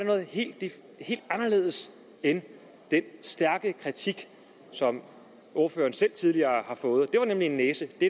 noget helt anderledes end den stærke kritik som ordføreren selv tidligere har fået det var nemlig en næse det